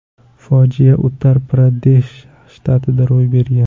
Fojia Uttar-Pradesh shtatida ro‘y bergan.